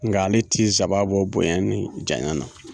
Nga ale ti zaba bɔ bonya ni janya na